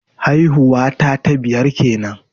Haihuwa ta ta biyar kenan